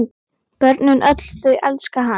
Börnin öll þau elska hann.